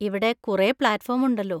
ഇവിടെ കുറെ platform ഉണ്ടല്ലോ.